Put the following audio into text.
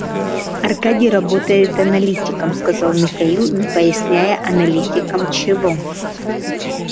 аркадий работает аналитиком сказал михаил не поясняя аналитиком чего